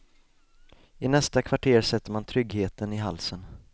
I nästa kvarter sätter man tryggheten i halsen.